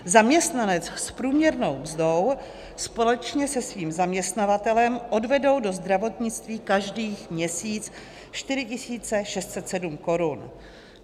Zaměstnanec s průměrnou mzdou společně se svým zaměstnavatelem odvedou do zdravotnictví každý měsíc 4 607 korun.